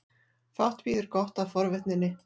Fátt bíður gott af forvitninni.